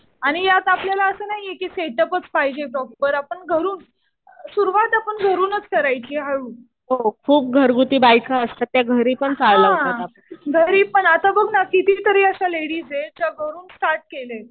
आणि यात आपल्याला असं नाहीये कि सेटअपच पाहिजे प्रॉपर. आपण घरून सुरुवात आपण घरूनच करायची हळू. हा. घरी पण आता बघ ना किती तरी अशा लेडीज आहेत ज्या घरून स्टार्ट केलंय.